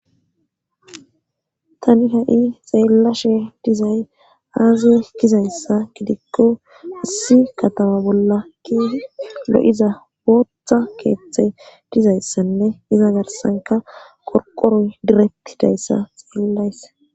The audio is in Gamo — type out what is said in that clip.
tani ha7i xeellashe dizay aaze kizayssa gidikko asi katama bolla keehid lo7iza bootha keeththe dizayssanne diza garsanka qorqoroy diretti dayssa xeellayse